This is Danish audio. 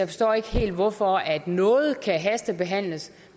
forstår ikke helt hvorfor noget kan hastebehandles